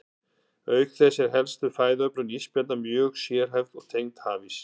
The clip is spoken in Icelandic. Auk þess er helsta fæðuöflun ísbjarna mjög sérhæfð og tengd hafís.